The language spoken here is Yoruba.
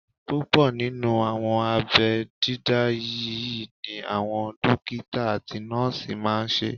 Púpọ̀ nínú àwọn abẹ́ dídá yí ni àwọn dókítà àti nọ́ọ̀sì máa n ṣe